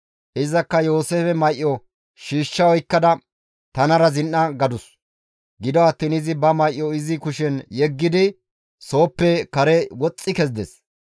Izakka Yooseefe may7o shiishsha oykkada, «Tanara zin7a» gadus. Gido attiin izi ba may7o izi kushen yeggidi sooppe kare woxxi kezides.